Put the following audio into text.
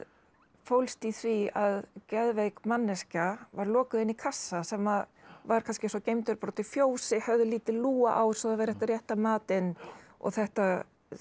fólst í því að geðveik manneskja var lokuð inni í kassa sem var kannski svo geymdur bara úti í fjósi höfð lítil lúga á svo það væri hægt að rétta matinn og þetta